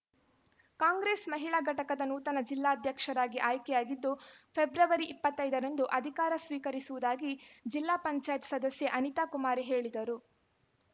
ಕಾಂಗ್ರೆಸ್‌ ಮಹಿಳಾ ಘಟಕದ ನೂತನ ಜಿಲ್ಲಾಧ್ಯಕ್ಷರಾಗಿ ಆಯ್ಕೆಯಾಗಿದ್ದು ಫೆಬ್ರವರಿ ಇಪ್ಪತ್ತ್ ಐದರಂದು ಅಧಿಕಾರ ಸ್ವೀಕರಿಸುವುದಾಗಿ ಜಿಪಂ ಸದಸ್ಯೆ ಅನಿತಾ ಕುಮಾರಿ ಹೇಳಿದರು